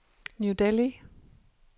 New Delhi